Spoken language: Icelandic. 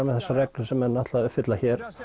með þessar reglur sem menn ætla að uppfylla hér